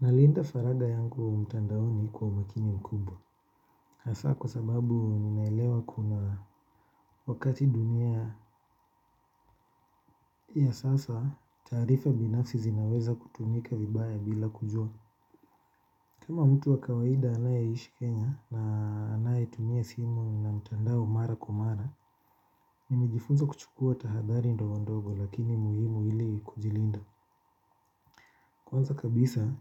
Nalinda faraga yangu mtandaoni kwa umakini mkubwa. Hasa kwa sababu ninaelewa kuna wakati dunia ya sasa taarifa binafsi zinaweza kutumika vibaya bila kujua. Kama mtu wa kawaida anayeishi Kenya na anayetumia simu na mtandao mara kwa mara. Nimejifunza kuchukua tahadari ndo ndogo lakini muhimu ili kujilinda. Kwanza kabisa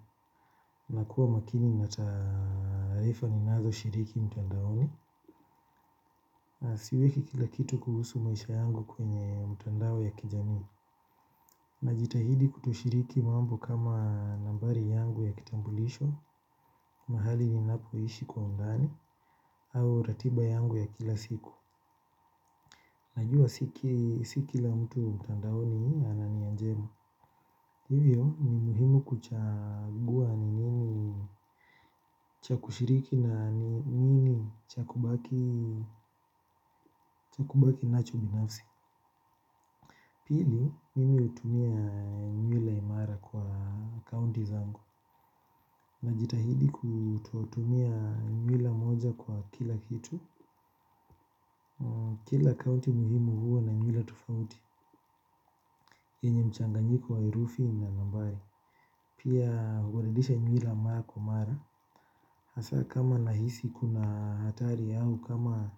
nakuwa makini na taarifa ninazo shiriki mtandaoni na siweki kila kitu kuhusu maisha yangu kwenye mtandao ya kijamii najitahidi kutoshiriki mambo kama nambari yangu ya kitambulisho mahali ninapoishi kwa undani au ratiba yangu ya kila siku najua si kila mtu mtandaoni ana nia njema hivyo ni muhimu kuchagua ni nini cha kushiriki na nini cha kubaki nacho binafsi. Pili, mimi hutumia nywila mara kwa akaunti zangu. Najitahidi kututumia nywila moja kwa kila kitu. Kila akaunti muhimu huwa na nywila tofauti yenye mchanganyiko wa heufi na nambari pia hubadilisha nywila mara kwa mara. Hasa kama nahisi kuna hatari yangu kama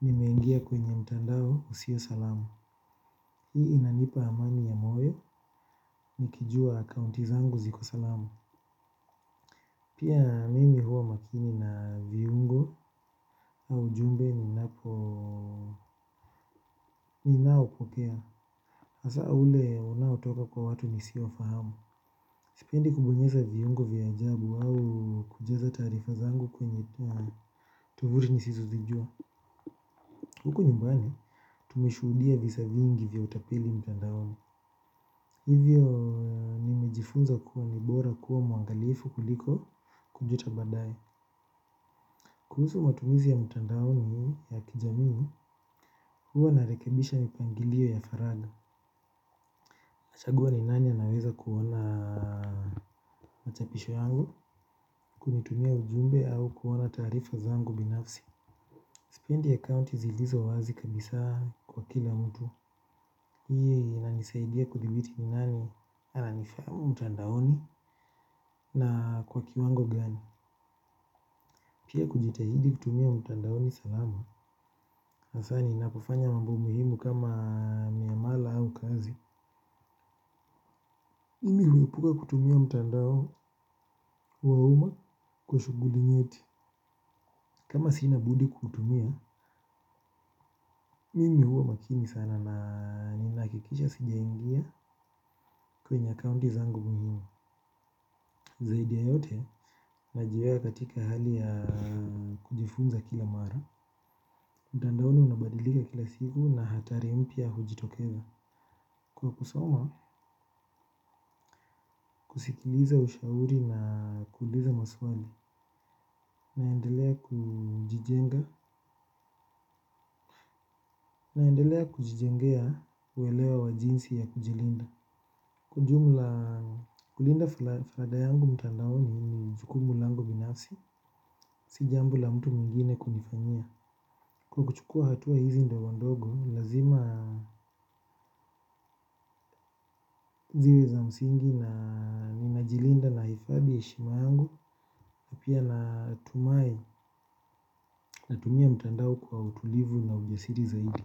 nimengia kwenye mtandao usio salamu. Hii inanipa amani ya moyo, nikijua akaunti zangu ziko salamu. Pia mimi huwa makini na viungo au ujumbe ninapo ni naopokea hasa ule unaotoka kwa watu nisiowafahamu. Sipendi kubonyeza viungo vya ajabu au kujaza tarifa zangu kwenye tovuti nisizozijua. Huku nyumbani, tumeshudia visa vingi vya utapeli mtandaoni. Hivyo nimejifunza kuwa ni bora kuwa mwangalifu kuliko kujuta badae. Kuhusu matumizi ya mtandaoni ya kijamii, huwa narekebisha mipangilio ya faraga. Nachagua ni nani anaweza kuona machapisho yangu, kunitumia ujumbe au kuona taarifa zangu binafsi. Sipendi account zilizo wazi kabisa kwa kila mtu mi yenye inanisaidia kudhibiti ni nani ananifahamu mtandaoni na kwa kiwango gani. Pia kujitahidi kutumia mtandaoni salama. Hasa ninapofanya mambo muhimu kama miamala au kazi. Mimi huepuka kutumia mtandao wa uma kwa shuguli nyeti. Kama sina budi kuutumia, mimi huwa makini sana na ninahakikisha sijaingia kwenye accounti zangu muhimu. Zaidi ya yote najiweka katika hali ya kujifunza kila mara. Mtandaoni unabadilika kila siku na hatari mpya hujitokeza. Kwa kusoma, sikiliza ushauri na kuuliza maswali. Naendelea kujijenga. Naendelea kujijengea uwelewa wa jinsi ya kujilinda. Kwa ujumla. Kulinda faraga yangu mtandaoni ni jukumu langu binafsi. Si jambo la mtu mwingine kunifanyia kwa kuchukua hatua hizi ndogondogo lazima ziwe za msingi Na Ninajilinda nahifadhi heshima yangu pia natumia mtandaoni kwa utulivu na ujasiri zaidi.